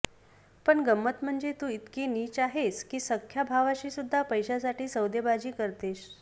पण गंमत म्हणजे तू इतकी नीच आहेस की सख्ख्या भावाशी सुद्धा पैश्यासाठी सौदेबाजी करतेस